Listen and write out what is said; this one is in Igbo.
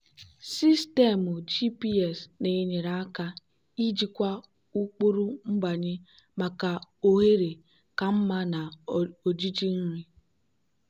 sistemu gps na-enyere aka ijikwa ụkpụrụ nbanye maka ohere ka mma na ojiji nri.